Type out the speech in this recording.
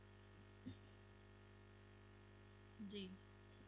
ਜੀ